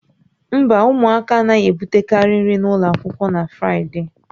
Mba, ụmụaka anaghị ebutekarị nri n'ụlọ akwụkwọ na Fraịde